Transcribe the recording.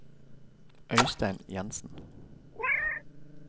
Øistein Jenssen